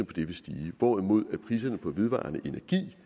på dem vil stige hvorimod priserne på vedvarende energi